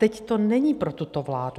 Teď to není pro tuto vládu.